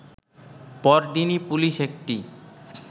পরদিনই পুলিশ একটি